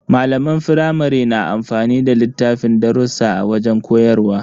Malaman firamare na amfani da littafin darrusa a wajen koyarwa.